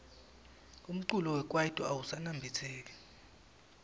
umculo wekaito awusaniabitseki